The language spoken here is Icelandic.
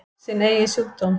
Sinn eigin sjúkdóm.